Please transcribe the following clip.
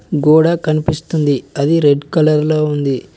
గోడ కనిపిస్తుంది అది రెడ్ కలర్ లో ఉంది.